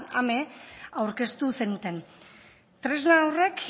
ame aurkeztu zenuten tresna horrek